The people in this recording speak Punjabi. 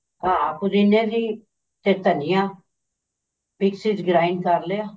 ਹਾਂ ਪੁਦੀਨੇ ਦੀ ਤੇ ਧਨੀਆ ਮਿਕਸੀ ਚ grind ਕਰ ਲਿਆ